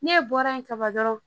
Ne bɔra yen ka ban dɔrɔn